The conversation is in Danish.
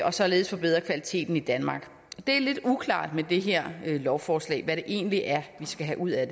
og således forbedre kvaliteten i danmark det er lidt uklart med det her lovforslag hvad det egentlig er vi skal have ud af